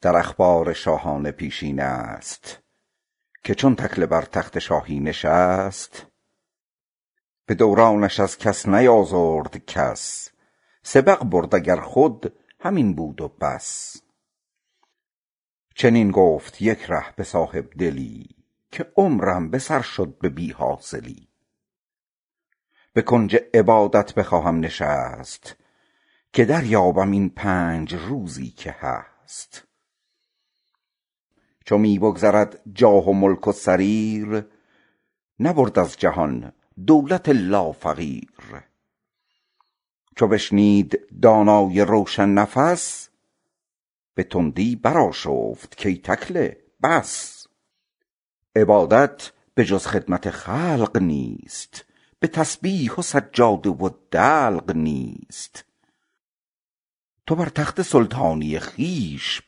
در اخبار شاهان پیشینه هست که چون تکله بر تخت زنگی نشست به دورانش از کس نیازرد کس سبق برد اگر خود همین بود و بس چنین گفت یک ره به صاحبدلی که عمرم به سر رفت بی حاصلی بخواهم به کنج عبادت نشست که دریابم این پنج روزی که هست چو می بگذرد جاه و ملک و سریر نبرد از جهان دولت الا فقیر چو بشنید دانای روشن نفس به تندی برآشفت کای تکله بس طریقت به جز خدمت خلق نیست به تسبیح و سجاده و دلق نیست تو بر تخت سلطانی خویش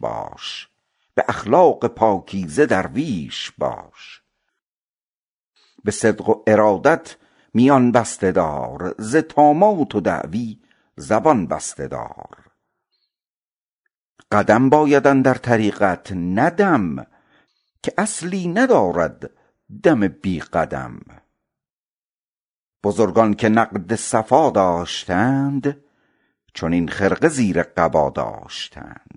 باش به اخلاق پاکیزه درویش باش به صدق و ارادت میان بسته دار ز طامات و دعوی زبان بسته دار قدم باید اندر طریقت نه دم که اصلی ندارد دم بی قدم بزرگان که نقد صفا داشتند چنین خرقه زیر قبا داشتند